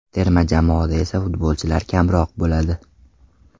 Terma jamoada esa futbolchilar kamroq bo‘ladi.